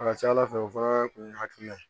A ka ca ala fɛ o fana kun ye hakilina ye